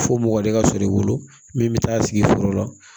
Fo mɔgɔ de ka sɔrɔ i bolo min bɛ taa sigi sɔrɔ